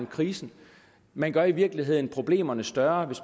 krisen man gør i virkeligheden problemerne større